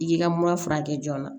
I y'i ka mura furakɛ joona